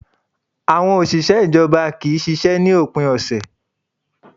Àwọn òṣìṣẹ́ ìjọba kì í ṣiṣẹ́ ní òpin ọ̀sẹ̀